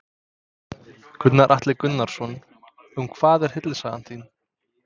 Gunnar Atli Gunnarsson: Um hvað er hryllingssaga þín?